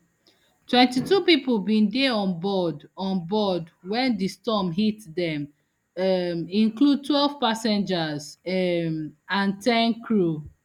twenty-two pipo bin dey on board on board wen di storm hit dem um include twelve passengers um and ten crew